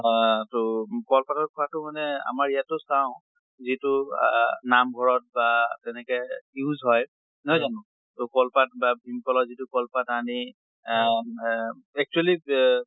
আহ তʼ কল পাতত খোৱাতো মানে আমাৰ ইয়াতো চাওঁ যিটো আহ নাম্ঘৰত বা তেনেকে use হয়, নহয় জানো? তʼ কল পাত বা ভীম কলৰ যিটো কল পাত আনি আহ ৱে actually এহ